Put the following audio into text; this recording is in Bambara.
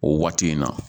O waati in na